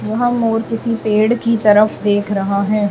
यहां मोर किसी पेड़ की तरफ देख रहा है।